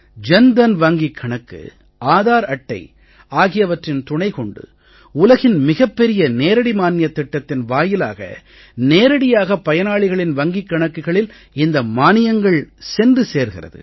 ஜன் தன் வங்கிக் கணக்கு ஆதார் அட்டை ஆகியவற்றின் துணை கொண்டு உலகின் மிகப் பெரிய நேரடி மானியத் திட்டத்தின் வாயிலாக நேரடியாக பயனாளிகளின் வங்கிக் கணக்குகளில் இந்த மானியங்கள் சென்று சேர்கிறது